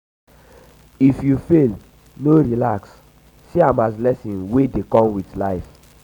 if you fail no relax see am as lesson wey dey wey dey come with life